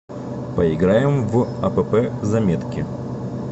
поиграем в апп заметки